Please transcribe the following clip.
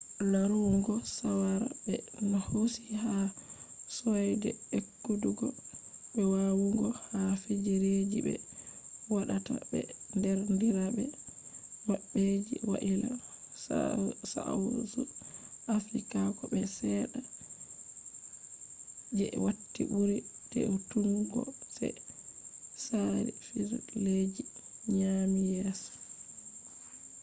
larugo shawara be hosi ha soide e’kutugo be wawugo ha fijirleji be wadata be derdirabe mabbe je waila, south africa ko be sedda je wati buri de’utukgo je tsari fijirleji nyami yeso